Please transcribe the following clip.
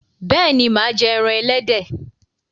béèni má jé èràn elédè.